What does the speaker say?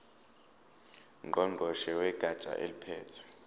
ngqongqoshe wegatsha eliphethe